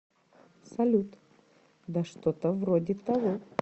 салют да что то вроде того